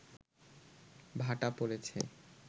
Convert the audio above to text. ভাটা পড়েছে